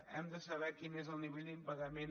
hem de saber quin és el nivell d’impagament